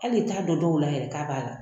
Hali t'a dɔn dɔw la yɛrɛ k'a b'a la